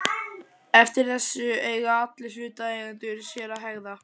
Eftir þessu eiga allir hlutaðeigendur sér að hegða.